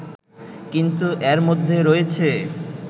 কিন্তু এর মধ্যে রয়েছে